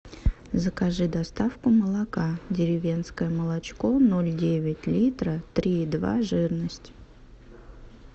закажи доставку молока деревенское молочко ноль девять литра три и два жирность